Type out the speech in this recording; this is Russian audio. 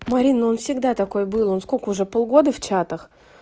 марина он всегда такой был он сколько уже полгода в чатах